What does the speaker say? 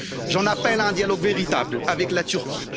J'en appelle à un dialogue véritable avec la Turquie.